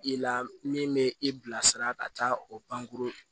I la min bɛ i bilasira ka taa o pankurun